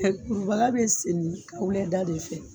Kurubaga be seni kɛwula da de fɛ